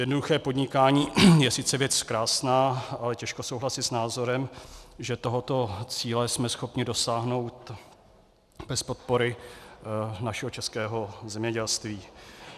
Jednoduché podnikání je sice věc krásná, ale těžko souhlasit s názorem, že tohoto cíle jsme schopni dosáhnout bez podpory našeho českého zemědělství.